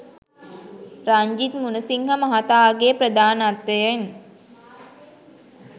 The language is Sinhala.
රංජිත් මුණසිංහ මහතාගේ ප්‍රධානත්වයෙන්